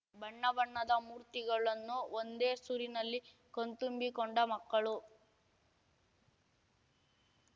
ಬಣ್ಣ ಬಣ್ಣದ ಮೂರ್ತಿಗಳನ್ನು ಒಂದೇ ಸೂರಿನಲ್ಲಿ ಕಣ್ತುಂಬಿಕೊಂಡ ಮಕ್ಕಳು